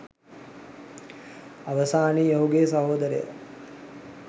අවසානයේ ඔහුගේ සහෝදරය